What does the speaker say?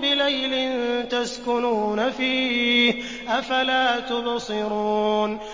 بِلَيْلٍ تَسْكُنُونَ فِيهِ ۖ أَفَلَا تُبْصِرُونَ